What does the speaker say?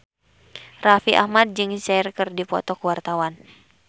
Raffi Ahmad jeung Cher keur dipoto ku wartawan